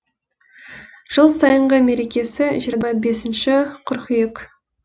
жыл сайынғы мерекесі жиырма бесінші қыркүйек